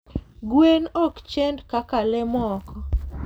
Gwen okchend kaka lee moko